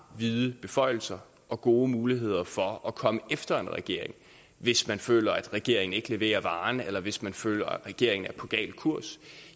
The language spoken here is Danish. vide beføjelser og gode muligheder for at komme efter en regering hvis man føler at regeringen ikke leverer varen eller hvis man føler regeringen er på gal kurs